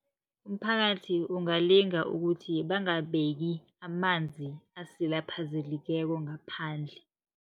Umphakathi ungalinga ukuthi bangabeki amanzi asilaphazelikeko ngaphandle.